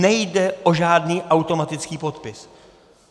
Nejde o žádný automatický podpis.